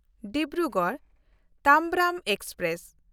Dibrugarh Tambaram express